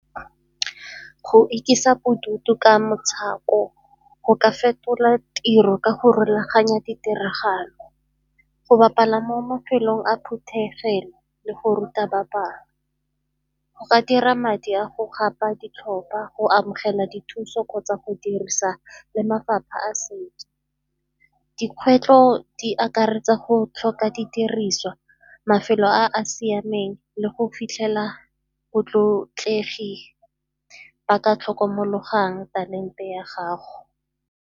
Go ikisa bodutu ka go ka fetola tiro ka go rulaganya ditiragalo, go bapala mo mafelong a phuthegelo le go ruta ba bangwe go ka dira madi a go gapa ditlhopha, go amogela dithuso kgotsa go dirisa le mafapha a setso. Dikgwetlho di akaretsa go tlhoka didiriswa, mafelo a a siameng le go fitlhela botlotlegi ba ka tlhokomologang talente ya gago.